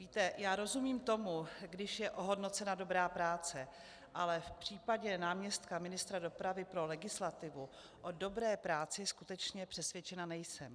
Víte, já rozumím tomu, když je ohodnocena dobrá práce, ale v případě náměstka ministra dopravy pro legislativu o dobré práci skutečně přesvědčena nejsem.